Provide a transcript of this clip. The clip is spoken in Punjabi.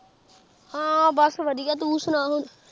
ਹਾਂ ਬਸ ਵਧੀਆ ਤੂੰ ਸੁਣਾ ਹੁਣ।